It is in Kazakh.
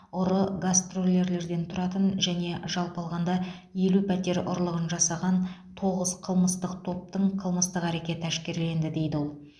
ұры гастролерлерден тұратын және жалпы алғанда елу пәтер ұрлығын жасаған тоғыз қылмыстық топтың қылмыстық әрекеті әшкерленді дейді ол